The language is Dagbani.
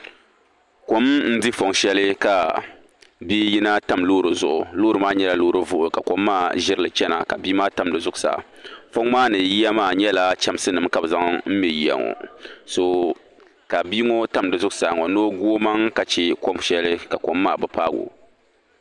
Kom n-di fong shɛli ka bia yina tam loori zuɣu loori maa nyɛla loori vuɣu ka kom maa ʒirili chana ka bia maa tam di zuɣusaa fong maa ni yiya maa nyɛla chamsinima ka bɛ zaŋ m-me yiya ŋɔ ka bia ŋɔ tam di zuɣusaa ŋɔ ni o gu o maŋa ka che ka kom maa bi paagi o.